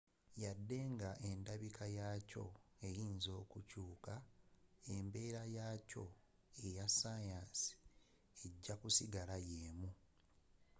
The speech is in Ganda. wadde nga endabika yakyo eyinza okukyuuka embeera yaakyo eya sayansi ejja kusigala yeemu